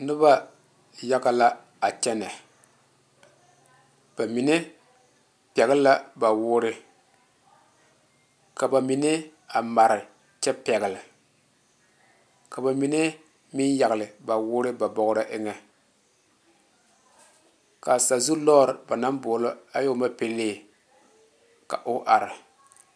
Noba yaga la a kyɛne ba mine pegle la ba woɔre ka ba mine a mare kyɛ pegle ka ba mine meŋ yagle ba woɔre ba boɔrɔ eŋa ka sazu lɔre ba naŋ boɔrɔ ayɔɔmapele ka o are.